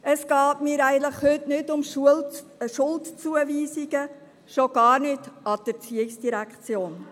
Es geht mir heute eigentlich nicht um Schuldzuweisungen, schon gar nicht gegenüber der ERZ.